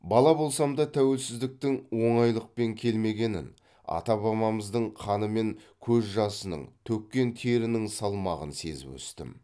бала болсам да тәуелсіздіктің оңайлықпен келмегенін ата бабамыздың қаны мен көз жасының төккен терінің салмағын сезіп өстім